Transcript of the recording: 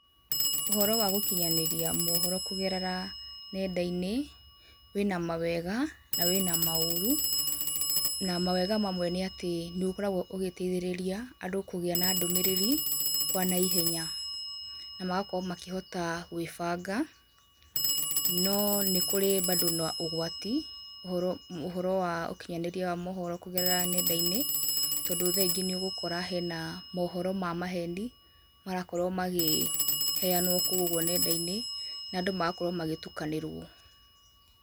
Ũhoro wa gũkinyanĩria mohoro kũgerera nenda-inĩ, wĩna mawega, na wĩna maũru, na mawega mamwe nĩ atĩ nĩ ũkoragwo ũgĩteithĩrĩria andũ kũgĩa na ndũmĩrĩri kwa naihenya, na magakorwo makĩhota gwĩbanga no nĩ kũrĩ bado na ũgwati, ũhoro ũhoro wa ũkinyanĩria wa mohoro kũgerera nenda-inĩ tondũ thaa ingĩ nĩ ũgũkora hena mohoro wa maheni, marakorwo makĩheanwo kou ũguo nenda-inĩ, nandũ magakorwo magĩtukanĩrwo.